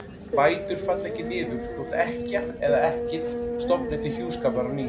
Bætur falla ekki niður þótt ekkja eða ekkill stofni til hjúskapar á ný.